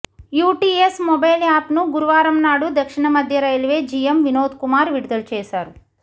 UTS mobile యాప్ను గురువారంనాడు దక్షిణ మధ్య రేల్వే జీఏం వినోద్కుమార్ విడుదల చేశారు